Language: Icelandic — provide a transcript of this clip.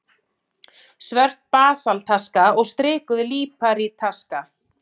Svört basaltaska og strikuð líparítaska.